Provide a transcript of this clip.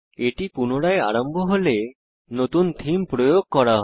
এটি পুনরায় আরম্ভ হলে নতুন থীম প্রয়োগ করা হয়